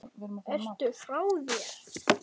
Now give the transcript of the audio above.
Ertu frá þér!